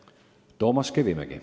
Toomas Kivimägi.